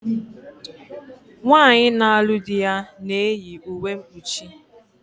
Nwaanyi na-alu di na-eyi uwe mkpuchi